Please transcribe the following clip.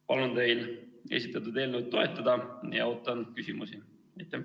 Palun teil esitatud eelnõu toetada ja ootan küsimusi!